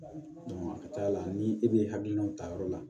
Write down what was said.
a ka ca la ni e de ye hakilinaw ta yɔrɔ la